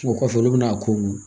O kɔfɛ olu bɛna a ko